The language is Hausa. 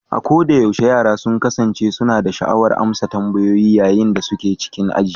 A kodayaushe, yara sun kasance suna da sha'awar amsa tambayoyi yayin da suke cikin aji